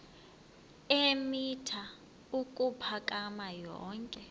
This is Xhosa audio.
eemitha ukuphakama yonke